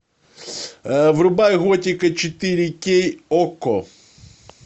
врубай готика четыре кей окко